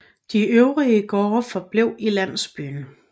De øvrige gårde forblev i landsbyen